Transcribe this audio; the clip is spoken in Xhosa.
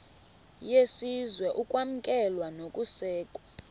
yesizwe ukwamkelwa nokusekwa